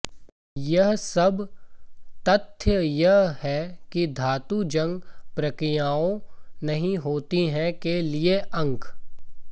यह सब तथ्य यह है कि धातु जंग प्रक्रियाओं नहीं होती है के लिए अंक